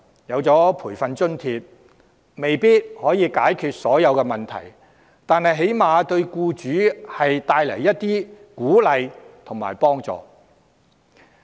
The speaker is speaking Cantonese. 雖然培訓津貼未必能解決所有問題，但起碼可為僱主帶來鼓勵和幫助。